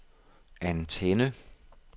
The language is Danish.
antenne